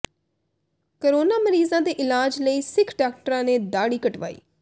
corona ਮਰੀਜ਼ਾਂ ਦੇ ਇਲਾਜ ਲਈ ਸਿੱਖ ਡਾਕਟਰਾਂ ਨੇ ਦਾੜ੍ਹੀ ਕਟਵਾਈ